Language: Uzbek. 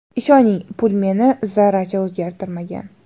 Ishoning, pul meni zarracha o‘zgartirmagan.